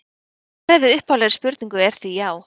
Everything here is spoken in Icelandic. Svarið við upphaflegri spurningu er því já.